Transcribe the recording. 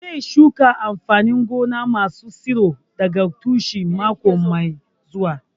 Zai shuka amfanin gona masu tsiro daga tushe mako mai zuwa